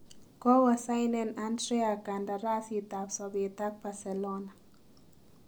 Kogosainen Andrea kandarasiit ab sobeet ak Barcelona.